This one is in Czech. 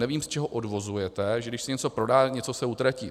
Nevím, z čeho odvozujete, že když se něco prodá, něco se utratí.